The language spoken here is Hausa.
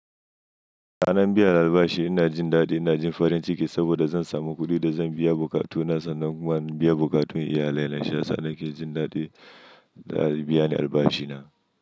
Sannan biya albashi, ina jin daɗi, ina jin farin ciki saboda zan samu kuɗi da zan biya bokatuna. Sannan kuma zan biya bokatun iyalai na. Mayasa nake jin daɗi da anbiya ni albashina.